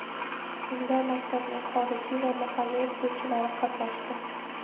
Unda maktabning xorijiy va mahalliy o‘qituvchilari qatnashdi.